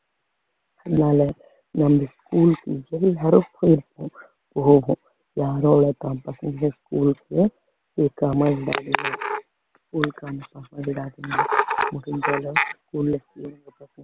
அதனால schools யாரோ ஒருத்தன் school ல இருக்கானா இல்லையா